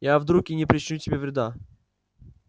я друг и не причиню тебе вреда